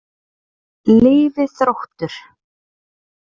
Lifi Þróttur.